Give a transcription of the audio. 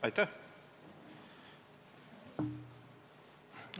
Aitäh!